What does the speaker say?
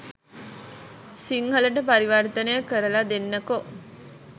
සිංහලට පරිවර්තනය කරලා දෙන්නකෝ.